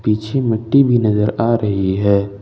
पीछे मिट्टी भी नजर आ रही है।